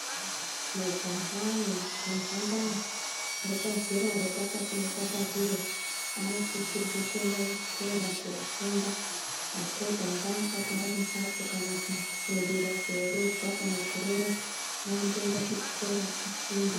Majaha nemhandara repazera repakati nepakati roo, anosisirwe kuenda kuchikora, ndapota ngaasa gara mumbatso kana kurumbirwa koroorwa kana kuroora ngaamboenda kuchikora koofunda.